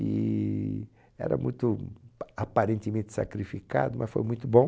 E era muito aparentemente sacrificado, mas foi muito bom.